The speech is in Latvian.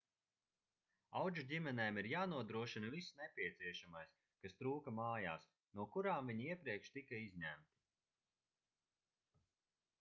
audžuģimenēm ir jānodrošina viss nepieciešamais kas trūka mājās no kurām viņi iepriekš tika izņemti